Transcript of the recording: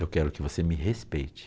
Eu quero que você me respeite.